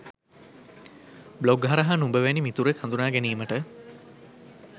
blog හරහා නුඹ වැනි මිතුරෙක් හඳුනා ගැනීමට